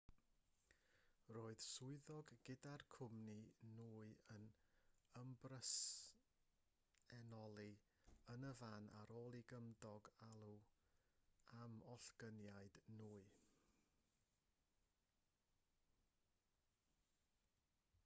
roedd swyddog gyda'r cwmni nwy yn ymbresenoli yn y fan ar ôl i gymydog alw am ollyngiad nwy